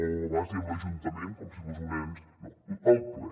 a vegades diem l’ajuntament com si fos un ens no el ple